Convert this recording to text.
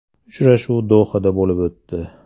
Uchrashuv Dohada bo‘lib o‘tdi.